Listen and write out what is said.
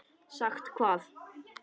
Sagt hvað?